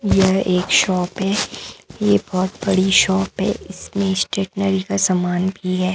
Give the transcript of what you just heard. यह एक शॉप है ये बहोत बड़ी शॉप है इसमें स्टेशनरी का सामान भी है।